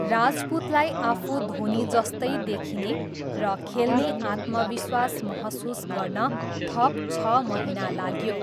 राजपूतलाई आफू धोनीजस्तै देखिने र खेल्ने आत्मविश्वास महसुस गर्न थप छ महिना लाग्यो।